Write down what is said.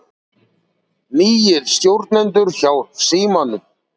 Nýir stjórnendur hjá Símanum